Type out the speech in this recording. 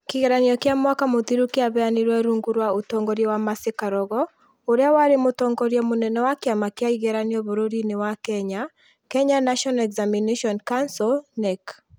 Kĩgeranio kĩa mwaka mũthiru kĩaheanirwo rungu rwa ũtongoria wa Mercy Karogo ũrĩa warĩ mũtongoria mũnene wa kĩama kĩa ĩgeranio bũrũri-inĩ wa kenya, Kenya National Examinations Council (Knec).